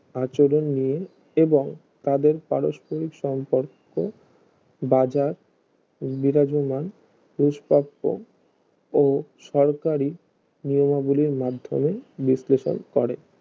আচরণ নিয়ে এবং তাদের পারস্পরিক সম্পর্কবাজার বিরাজমান পুষ্পাক্ষ ও সরকারি নিয়মাবলির মাধ্যমে বিশ্লেষক করে